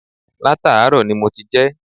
Látàárò ni mo ti jé